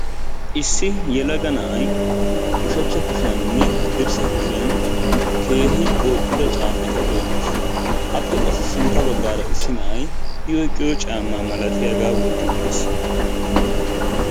Issi yelaga na'ay ushachcha kushiyaaninne haddirssa kushiyan keehi booxxida caammata oyqqis. Appe qassi sintta baggaara issi na'ay i oyiqqido caammaa malatiyagaa wotti uttis.